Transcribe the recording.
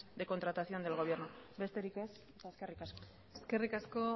de contratación del gobierno besterik ez eskerrik asko eskerrik asko